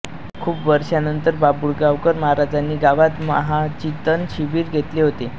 खूप वर्षांपूर्वी बाभुळगावकर महाराजांनी गावात महाचिंतन शिबिर घेतले होते